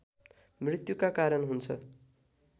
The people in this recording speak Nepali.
मृत्‍युका कारण हुन्छ